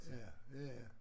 Ja ja ja